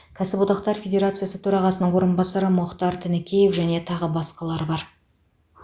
кәсіподақтар федерациясы төрағасының орынбасары мұхтар тінікеев және тағы басқалар бар